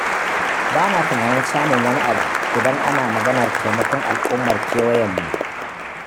Ba na tunanin samun wani abu, idan ana maganar taimakon al'ummar kewayenmu.